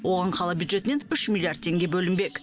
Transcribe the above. оған қала бюджетінен үш миллиард теңге бөлінбек